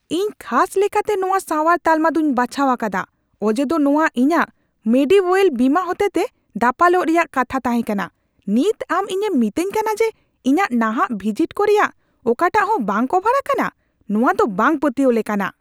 ᱤᱧ ᱠᱷᱟᱥ ᱞᱮᱠᱟᱛᱮ ᱱᱚᱶᱟ ᱥᱟᱶᱟᱨ ᱛᱟᱞᱢᱟ ᱫᱩᱧ ᱵᱟᱪᱷᱟᱣ ᱟᱠᱟᱫᱟ ᱚᱡᱮᱫᱚ ᱱᱚᱶᱟ ᱤᱧᱟᱹᱜ ᱢᱮᱰᱤᱣᱳᱭᱮᱞ ᱵᱤᱢᱟ ᱦᱚᱛᱮᱛᱮ ᱫᱟᱯᱟᱞᱚᱜ ᱨᱮᱭᱟᱜ ᱠᱟᱛᱷᱟ ᱛᱟᱦᱮᱸ ᱠᱟᱱᱟ ᱾ ᱱᱤᱛ ᱟᱢ ᱤᱧᱮᱢ ᱢᱤᱛᱟᱹᱧ ᱠᱟᱱᱟ ᱡᱮ ᱤᱧᱟᱹᱜ ᱱᱟᱦᱟᱜ ᱵᱷᱤᱡᱤᱴ ᱠᱚ ᱨᱮᱭᱟᱜ ᱚᱠᱟᱴᱟᱜ ᱦᱚᱸ ᱵᱟᱝ ᱠᱚᱵᱷᱟᱨ ᱟᱠᱟᱱᱟ ? ᱱᱚᱶᱟ ᱫᱚ ᱵᱟᱝ ᱯᱟᱹᱛᱭᱟᱹᱣ ᱞᱮᱠᱟᱱᱟᱜ !